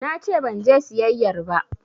Nace banje siyayyar ba